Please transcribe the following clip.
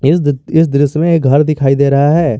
इस दृश्य में एक घर दिखाई दे रहा है।